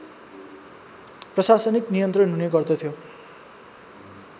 प्रशासनिक नियन्त्रण हुने गर्दथ्यो